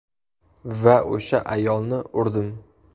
Va o‘sha ayolni urdim.